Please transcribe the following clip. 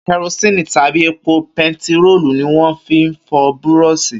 Kẹrosíni tàbí epo bentiróòlù ni wọ́n fi ń fọ búrọ̀ṣì